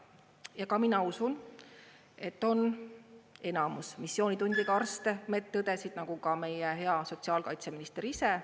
Ja ka mina usun, et on enamus missioonitundega arste, medõdesid, nagu ka meie hea sotsiaalkaitseminister ise.